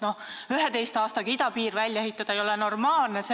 Näiteks 11 aastaga idapiir välja ehitada ei ole normaalne, aga ...